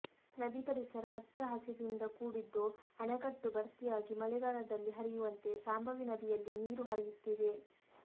ನದಿ ಪರಿಸರ ಹಚ್ಚ ಹಸಿರಿನಿಂದ ಕೂಡಿದ್ದು ಅಣೆಕಟ್ಟು ಭರ್ತಿಯಾಗಿ ಮಳೆಗಾಲದಲ್ಲಿ ಹರಿಯುವಂತೆ ಶಾಂಭವಿ ನದಿಯಲ್ಲಿ ನೀರು ಹರಿಯುತ್ತಿದೆ